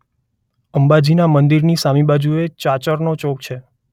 અંબાજીના મંદિરની સામી બાજુએ ચાચરનો ચોક છે.